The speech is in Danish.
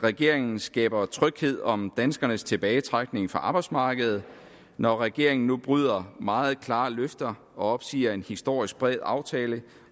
regeringen skaber tryghed om danskernes tilbagetrækning fra arbejdsmarkedet når regeringen nu bryder meget klare løfter og opsiger en historisk bred aftale